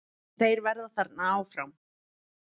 Þeir verða þarna áfram.